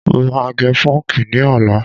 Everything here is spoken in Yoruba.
Mo máa gẹ pọ́ǹkì ní ọ̀la.